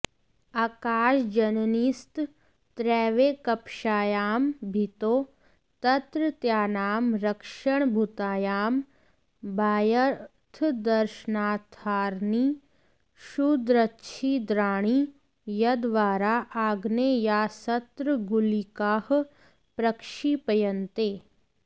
आकाशजननीस्तत्रैवैकपक्षायां भित्तौ तत्रत्यानां रक्षणभूतायां बाह्यार्थदर्शनार्थानि क्षुद्रच्छिद्राणि यद्द्वारा आग्नेयास्त्रगुलिकाः प्रक्षिप्यन्ते